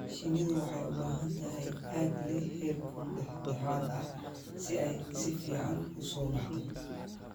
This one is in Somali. Shinnidu waxay u baahan tahay aag leh heerkul dhexdhexaad ah si ay si fiican u soo baxdo.